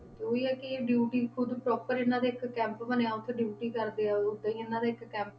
ਤੇ ਉਹੀ ਹੈ ਕਿ ਇਹ duty ਖੁੱਦ proper ਇਹਨਾਂ ਦਾ ਇੱਕ camp ਬਣਿਆ, ਉੱਥੇ duty ਕਰਦੇ ਉਹ ਇਹਨਾਂ ਦਾ ਇੱਕ camp